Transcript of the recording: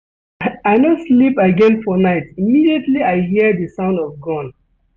I no sleep again for night immediately I hear di sound of gun.